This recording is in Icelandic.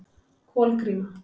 Kolgríma